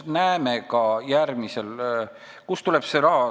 Kust see raha tuleb?